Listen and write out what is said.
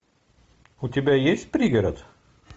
у тебя есть пригород